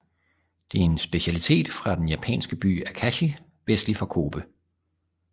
Det er en specialitet fra den japanske by Akashi vestlig for Kobe